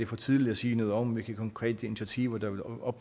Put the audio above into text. for tidligt at sige noget om hvilke konkrete initiativer